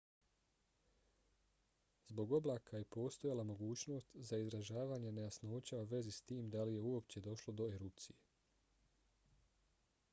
zbog oblaka je postojala mogućnost za izražavanje nejasnoća u vezi s tim da li je uopće došlo do erupcije